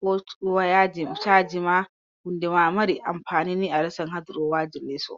ko woya caaji ma, hunde ma mari ampani aresan haa durowaji leeso.